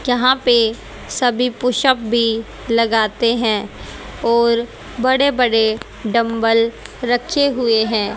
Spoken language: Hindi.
यहां पर सभी पुशअप भी लगते हैं और बड़े बड़े डंबल रखे हुए हैं।